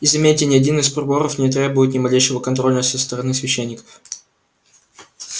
и заметьте ни один из приборов не требует ни малейшего контроля со стороны священников